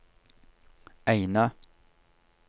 Eina